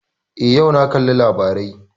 Eh, yau na kalli labarai